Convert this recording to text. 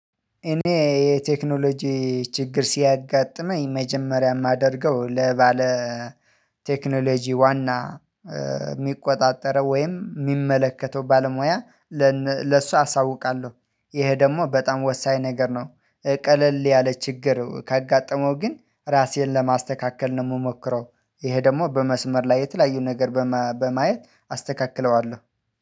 እኔ የቴክኖሎጂ ችግር ሲያጋጥመኝ መጀመሪያ የማደርገው ለባለ ቴክኖሎጂ ዋና የሚቆጣጠረው ወይም የሚመለከተው ባለሙያ ለሱ አሳውቃለሁ፣ ይሄ ደግሞ በጣም ወሳኝ ነገር ነው። ቀለል ያለ ችግር ካጋጠመው ግን ራሴን ለማስተካከል ነው የምሞክረው። ይሄ ደግሞ በመስመር ላይ የተለያዩ ነገር በማየት አስተካክለዋለሁ